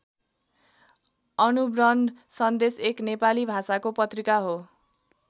अणुव्रन सन्देश एक नेपाली भाषाको पत्रिका हो।